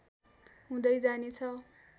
हुँदै जानेछ